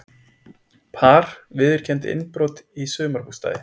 Par viðurkenndi innbrot í sumarbústaði